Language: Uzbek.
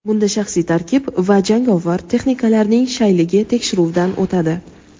Bunda shaxsiy tarkib va jangovar texnikalarning shayligi tekshiruvdan o‘tadi.